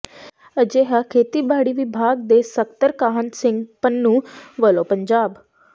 ਅਜਿਹਾ ਖੇਤੀਬਾੜੀ ਵਿਭਾਗ ਦੇ ਸਕੱਤਰ ਕਾਹਨ ਸਿੰਘ ਪੰਨੂੰ ਵਲੋਂ ਪੰਜਾਬ